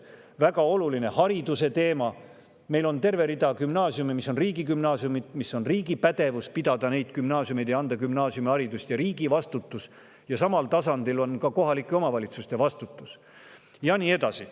Väga oluline on hariduse teema – meil on terve rida gümnaasiume, mis on riigigümnaasiumid, ja riigi pädevus ja vastutus on pidada neid gümnaasiume ja anda gümnaasiumiharidust ja samal tasandil on ka kohalike omavalitsuste vastutus, ja nii edasi.